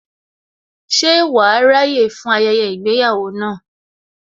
Ṣe wàá ráyè fún ayẹyẹ ìgbéyàwó náà